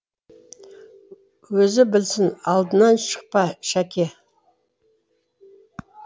өзі білсін алдынан шықпа шәке